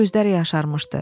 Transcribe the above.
Gözləri yaşarmışdı.